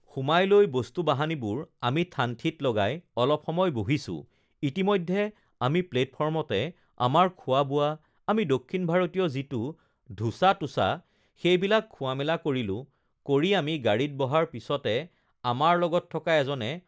সোমাই লৈ বস্তু-বাহানীবোৰ আমি ঠান-ঠিত লগাই অলপ সময় বহিছো ইতিমধ্যে আমি প্লেটফৰ্মতে আমাৰ খোৱা-বোৱা আমি দক্ষিণ ভাৰতীয় যিটো ধোচা-টোচা সেইবিলাক খোৱা-মেলা কৰিলোঁ কৰি আমি গাড়ীত বহাৰ পিছতে আমাৰ লগত থকা এজনে